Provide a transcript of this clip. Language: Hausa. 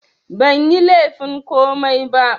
Banyi laifin komai ba